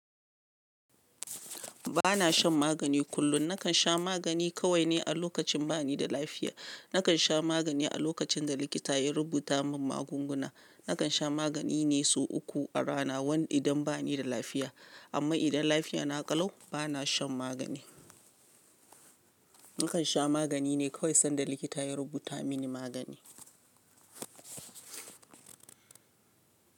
Ba na shan magani kullum. Nakan sha magani kawai ne a lokacin ba ni da lafiya. Nakan sha magani a lokacin da likita ya rubuta min magunguna. Nakan sha magani ne sau uku a rana, wani idan ba ni da lafiya. Amma idan lafiyana ƙalau, ba na shan magani. Nakan sha magani ne kawai sanda likita ya rubuta mini magani.